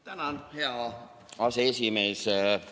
Tänan, hea aseesimees!